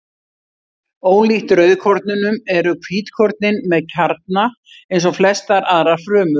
Ólíkt rauðkornunum eru hvítkornin með kjarna eins og flestar aðrar frumur.